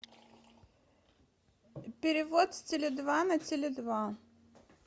перевод с теле два на теле два